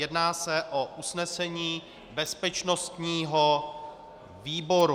Jedná se o usnesení bezpečnostního výboru.